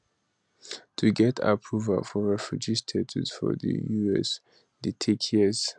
to get approval for refugee status for di us dey take years